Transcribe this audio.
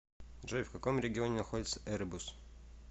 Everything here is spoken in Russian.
джой в каком регионе находится эребус